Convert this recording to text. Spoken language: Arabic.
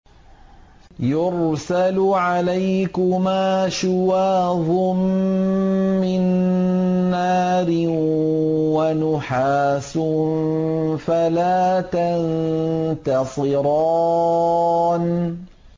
يُرْسَلُ عَلَيْكُمَا شُوَاظٌ مِّن نَّارٍ وَنُحَاسٌ فَلَا تَنتَصِرَانِ